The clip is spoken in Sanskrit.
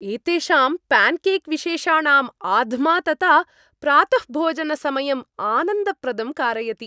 एतेषां पान्केक् विशेषाणां आध्मातता प्रातःभोजनसमयम् आनन्दप्रदं कारयति।